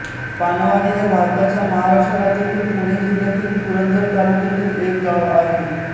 पानवाडी हे भारताच्या महाराष्ट्र राज्यातील पुणे जिल्ह्यातील पुरंदर तालुक्यातील एक गाव आहे